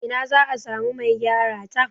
Ina za a samu Mai gyara ta?